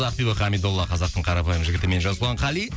ақбибі қамидолла қазақтың қарапайым жігітімен жасұлан қали